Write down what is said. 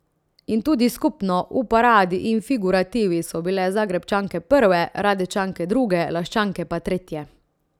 In tudi skupno, v paradi in figurativi, so bile Zagrebčanke prve, Radečanke druge, Laščanke pa tretje.